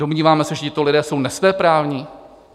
Domníváme se, že tito lidé jsou nesvéprávní?